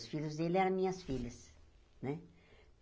Os filhos deles eram minhas filhas, né?